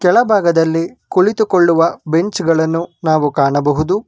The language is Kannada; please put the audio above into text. ಕೆಳಭಾಗದಲ್ಲಿ ಕುಳಿತುಕೊಳ್ಳುವ ಬೆಂಚ್ ಗಳನ್ನು ನಾವು ಕಾಣಬಹುದು.